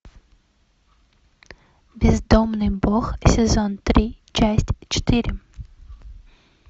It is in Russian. бездомный бог сезон три часть четыре